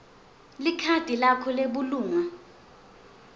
likhadi lakho lebulunga